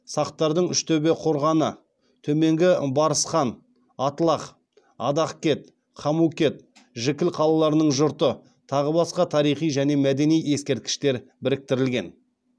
сақтардың үштөбе қорғаны төменгі барысхан атлах адахкет хамукет жікіл қалаларының жұрты тағы басқа тарихи және мәдени ескерткіштер біріктірілген